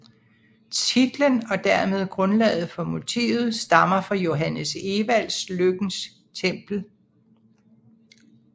Titlen og dermed grundlaget for motivet stammer fra Johannes Ewalds Lykkens Tempel